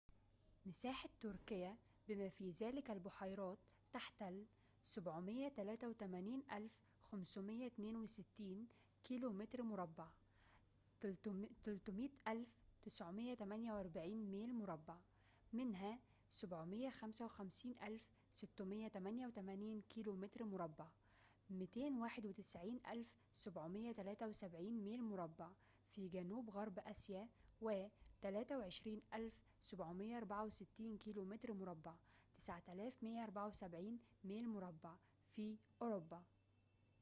مساحة تركيا، بما في ذلك البحيرات، تحتل 783،562 كيلومتر مربع 300،948 ميل مربع ، منها 755688 كيلومتر مربع 291،773 ميل مربع في جنوب غرب آسيا و 23،764 كيلومتر مربع 9174 ميل مربع في أوروبا